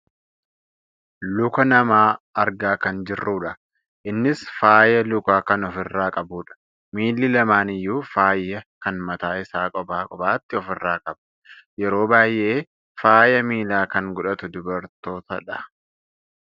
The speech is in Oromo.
Luka namaa argaa kan jirrudha. innis faaya lukaa kan of irraa qabudha. Miilli lamaan iyyuu faaya kan mataa isaa kopha kophaatti ofirraa qaba. Yeroo baayyee faaya miilaa kan godhatu dubartootadha.